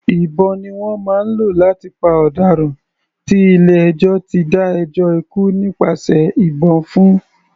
Ìbọn ni wọ́n máa ń lò láti pa ọ̀daràn tí ilé ẹjọ́ ti dá ẹjọ́ ikú nípasẹ̀ ìbọn fún.